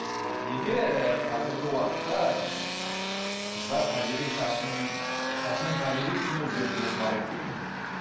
ммм неге қазіргі уақытта қыздар табиғи шашын шашының табиғи түсін өзгертуге құмар болып кетті